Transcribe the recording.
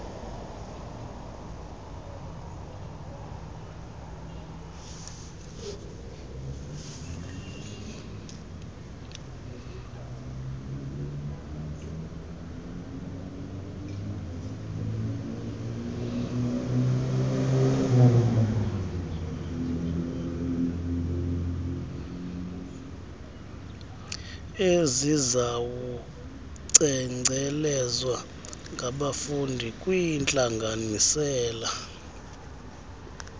esizawucengcelezwa ngabafundi kwiintlanganisela